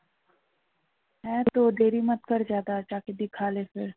হ্যাঁ তো